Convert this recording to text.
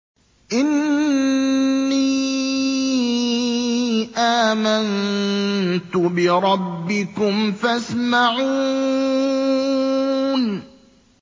إِنِّي آمَنتُ بِرَبِّكُمْ فَاسْمَعُونِ